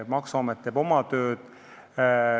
Maksuamet teeb oma tööd.